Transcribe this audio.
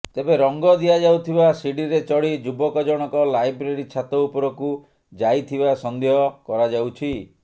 ତେବେ ରଙ୍ଗ ଦିଆଯାଉଥିବା ସିଡିରେ ଚଢ଼ି ଯୁବକ ଜଣକ ଲାଇବ୍ରେରୀ ଛାତ ଉପରକୁ ଯାଇଥିବା ସନ୍ଦେହ କରାଯାଉଛି